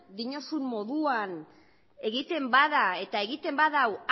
diozun moduan egiten bada eta egiten badu